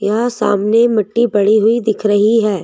यह सामने मिट्टी पड़ी हुई दिख रही है।